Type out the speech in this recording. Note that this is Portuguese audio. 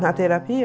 Na terapia?